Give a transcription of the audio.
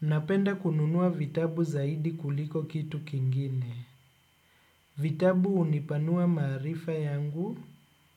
Napenda kununua vitabu zaidi kuliko kitu kingine. Vitabu hunipanua maarifa yangu,